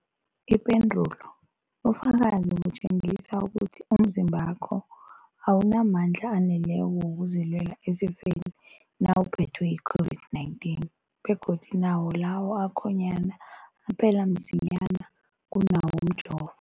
Ipendulo, ubufakazi butjengisa ukuthi umzimbakho awunamandla aneleko wokuzilwela esifeni nawuphethwe yi-COVID-19, begodu nawo lawo akhonyana aphela msinyana kunawomjovo.